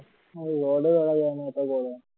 আর রডও ধরা যায়না এত গরম